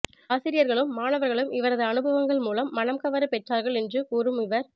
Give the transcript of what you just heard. ஆசிரியர்களும் மாணவர்களும் இவரது அனுபவங்கள் மூலம் மனம் கவர பெற்றார்கள் என்று கூறும் இவர்